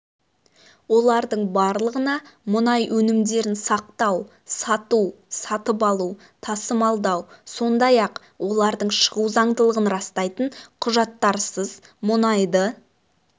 олардың барлығына мұнай өнімдерін сақтау сату сатып алу тасымалдау сондай-ақ олардың шығу заңдылығын растайтын құжаттарсыз мұнайды